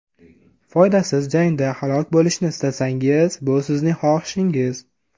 Foydasiz jangda halok bo‘lishni istasangiz, bu sizning xohishingiz.